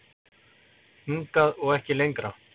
Hingað og ekki lengra